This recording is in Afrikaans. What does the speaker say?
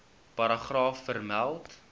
paragraaf vermeld